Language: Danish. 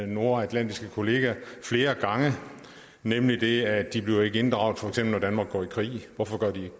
nordatlantiske kolleger flere gange nemlig at de ikke bliver inddraget for eksempel når danmark går i krig hvorfor gør de ikke